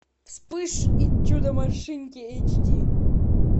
вспыш и чудо машинки эйч ди